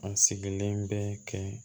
A sigilen bɛ kɛ